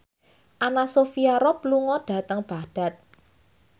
Anna Sophia Robb lunga dhateng Baghdad